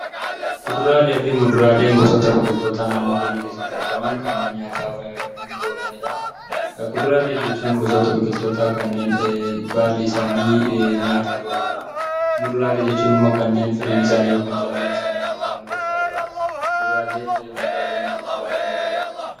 Kuduraalee fi muduraaleen gosoota biqilootaa naannoo keenya keessatti argaman kanneen nyaataaf nuuf oolanidha. Kuduraalee jechuun gosoota biqilootaa kanneen baalli isaanii nyaataaf ooludha. Muduraalee jechuun immoo kanneen firiin isaanii yookaan callaan isaanii nyaataaf nu gargaarudha. Kuduraalee fi muduraalee nyaachuu baay'een jaalladha.